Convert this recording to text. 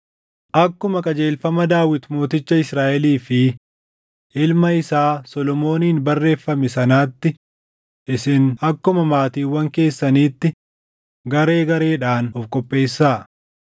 Akkuma qajeelfama Daawit mooticha Israaʼelii fi ilma isaa Solomooniin barreeffame sanaatti isin akkuma maatiiwwan keessaniitti garee gareedhaan of qopheessaa.